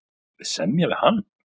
Viljum við semja við hann?